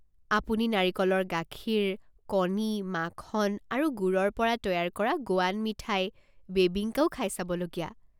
আপুনি নাৰিকলৰ গাখীৰ, কণী, মাখন আৰু গুৰৰ পৰা তৈয়াৰ কৰা গোৱান মিঠাই, বেবিঙ্কাও খাই চাব লগীয়া।